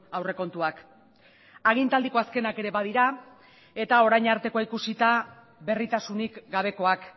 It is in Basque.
aurrekontuak agintaldiko azkenak ere badira eta orain artekoa ikusita berritasunik gabekoak